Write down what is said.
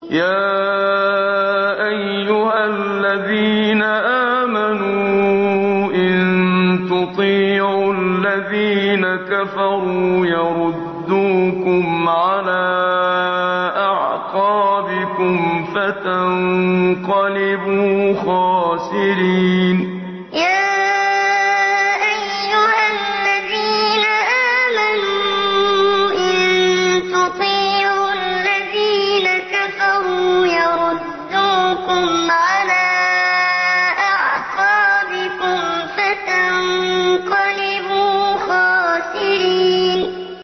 يَا أَيُّهَا الَّذِينَ آمَنُوا إِن تُطِيعُوا الَّذِينَ كَفَرُوا يَرُدُّوكُمْ عَلَىٰ أَعْقَابِكُمْ فَتَنقَلِبُوا خَاسِرِينَ يَا أَيُّهَا الَّذِينَ آمَنُوا إِن تُطِيعُوا الَّذِينَ كَفَرُوا يَرُدُّوكُمْ عَلَىٰ أَعْقَابِكُمْ فَتَنقَلِبُوا خَاسِرِينَ